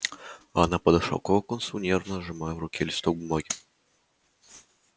она подошла к локонсу нервно сжимая в руке листок бумаги